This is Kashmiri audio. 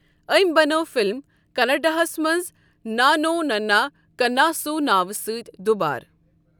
أمی بنٲو فِلِم کناڑاہَس منٛز نانو نننا کناسو ناوٕ سۭتۍ دُوبارٕ۔